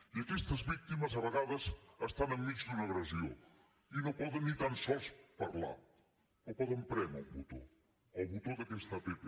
i aquestes víctimes a vegades estan enmig d’una agressió i no poden ni tan sols parlar o poden prémer un botó el botó d’aquesta app